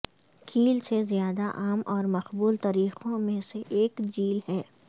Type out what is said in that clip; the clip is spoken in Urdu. کیل سے زیادہ عام اور مقبول طریقوں میں سے ایک جیل ہے